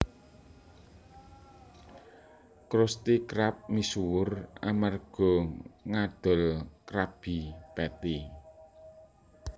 Krusty Krab misuwur amerga ngadol Krabby Patty